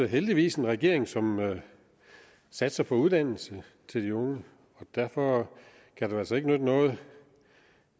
heldigvis en regering som satser på uddannelse til de unge og derfor kan det altså ikke nytte noget